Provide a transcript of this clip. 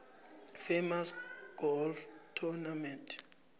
famous golf tournament